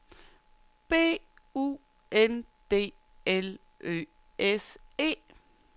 B U N D L Ø S E